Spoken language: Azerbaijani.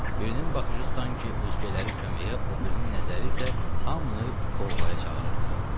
Birinin baxışı sanki özgələri köməyə, o birinin nəzəri isə hamını qovğaya çağırırdı.